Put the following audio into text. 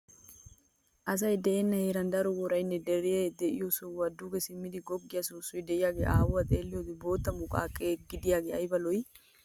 Asi de'enna heeran daro worayinne dere de'iyo sohuwan duge simmidi goggiya soossoy diyage haahuwan xeelliyoode bootta muqaqe gidaagee ayiba lo'i!